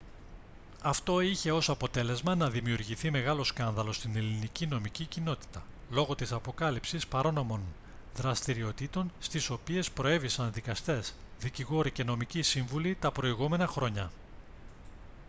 αυτό είχε ως αποτέλεσμα να δημιουργηθεί μεγάλο σκάνδαλο στην ελληνική νομική κοινότητα λόγω της αποκάλυψης παράνομων δραστηριοτήτων στις οποίες προέβησαν δικαστές δικηγόροι και νομικοί σύμβουλοι τα προηγούμενα χρόνια